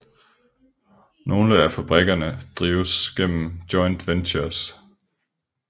Nogle af fabrikkerne drives gennem joint ventures